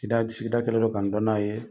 Kida sigida kɛlen don kan n dɔn n'a ye